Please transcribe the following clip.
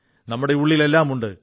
നമ്മുടെ ഉള്ളിൽ എല്ലാമുണ്ട്